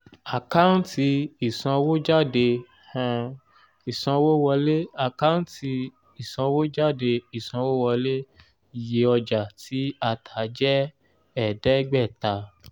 àkáǹtì ìsanwójáde um ìsanwówọlé àkántì ìsanwójáde ìsanwówọlé iye ọjà tí a tà jẹ́ ẹ̀ẹ́dẹ́gbẹ́ta